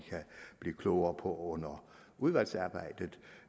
blive klogere på under udvalgsarbejdet